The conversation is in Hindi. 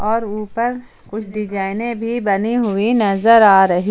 और ऊपर कुछ डिज़ाइनें भी बनी हुई नजर आ रही--